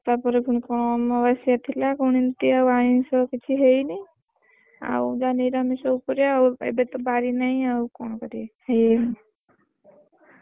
ତାପରେ ପୁଣି କଣ ଅମାବାସ୍ୟା ଥିଲା, କଣ ଏମିତି ଆଉ ଆମିଷ ହେଇନି ଆଉ ଯାହା ନିରାମିଷ ଉପରେ ଆଉ, ଏବେତ ନାହିଁ ଆଉ କଣ କରିବି।